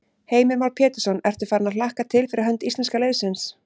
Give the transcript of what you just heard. Heimir Már Pétursson: Ertu farin að hlakka til fyrir hönd íslenska liðsins?